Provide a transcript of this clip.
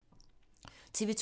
TV 2